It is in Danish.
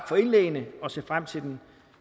for indlæggene og se frem til den